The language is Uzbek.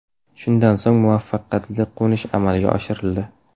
Shundan so‘ng muvaffaqiyatli qo‘nish amalga oshirildi.